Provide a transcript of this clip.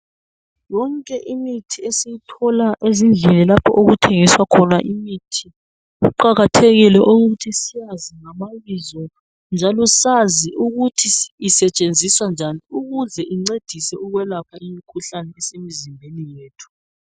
Yonke imithi esiyithola ezindlini lapho okuthengiswa khona imithi kuqakathekile ukuthi siyazi ngamabizo njalo sazi ukuthi isetshenziswa njani ukuze incedise ukwelapha imikhuhlane esemzimbeni yethu.